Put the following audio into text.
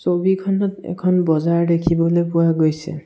ছবিখনত এখন বজাৰ দেখিবলে পোৱা গৈছে।